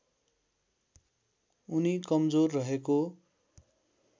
उनी कमजोर रहेको